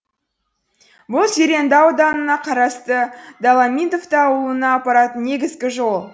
бұл зеренді ауданына қарасты доломитов ауылына апаратын негізгі жол